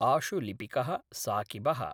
आशुलिपिकः साक़िबः